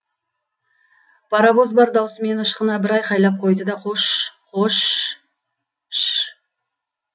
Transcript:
паровоз бар даусымен ышқына бір айқайлап қойды да қош қош ш